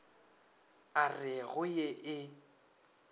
a re go ye e